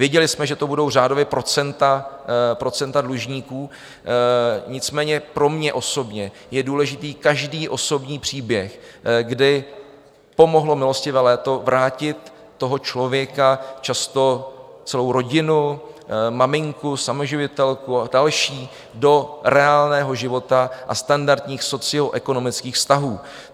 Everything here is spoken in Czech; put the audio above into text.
Věděli jsme, že to budou řádově procenta dlužníků, nicméně pro mě osobně je důležitý každý osobní příběh, kdy pomohlo milostivé léto vrátit toho člověka, často celou rodinu, maminku, samoživitelku a další, do reálného života a standardních socioekonomických vztahů.